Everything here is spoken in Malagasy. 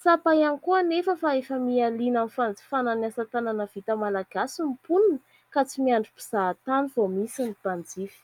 Tsapa ihany koa anefa fa efa mihaliana amin'ny fanjifana ny asatanana vita Malagasy ny mponina ka tsy miandry mpizahatany vao misy ny mpanjifa.